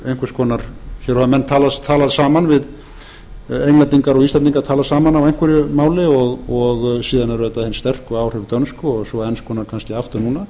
einhvers konar hér hafa menn talað saman englendingar og íslendingar talað saman á einhverju máli og síðan eru auðvitað hin sterku áhrif dönsku og svo enskunnar kannski aftur núna